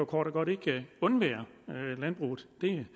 kort og godt ikke undvære landbruget det